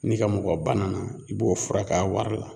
N'i ka mɔgɔ banana i b'o furak'a wari la.